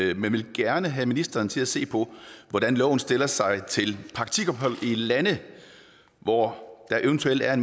vi men vil gerne have ministeren til at se på hvordan loven stiller sig til praktikophold i lande hvor der eventuelt er